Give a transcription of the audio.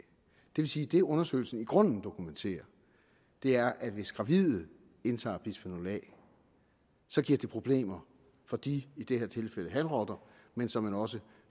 vil sige at det undersøgelsen i grunden dokumenterer er at hvis gravide indtager bisfenol a giver det problemer for de i det her tilfælde hanrotter men såmænd også